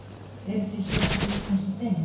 Eru til sérstakir íslenskir steinar?